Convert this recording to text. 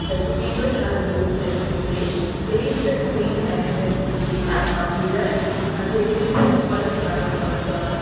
Vegetables are looks as a fresh there is a green and red chillies are appeared uh there is a cauliflower also appea --